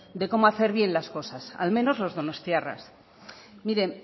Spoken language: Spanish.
de cómo hacer bien las cosas al menos los donostiarras miren